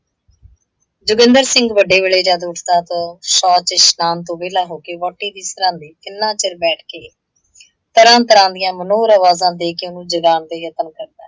ਜੋਗਿੰਦਰ ਸਿੰਘ ਵੱਡੇ ਵੇਲੇ ਜੱਦ ਉੱਠਦਾ ਤਾਂ ਉਹ ਸ਼ੋਚ ਤੇ ਇਸ਼ਨਾਨ ਤੋਂ ਵਿਹਲਾ ਹੋਕੇ ਵਹੁਟੀ ਦੇ ਸਿਰਹਾਣੇ ਕਿੰਨਾ ਚਿਰ ਬੈਠਕੇ, ਤਰ੍ਹਾਂ - ਤਰ੍ਹਾਂ ਦੀਆਂ ਮਨੋਹਰ ਆਵਾਜ਼ਾਂ ਦੇਕੇ ਉਹਨੂੰ ਜਗਾਉਣ ਦੇ ਯਤਨ ਕਰਦਾ।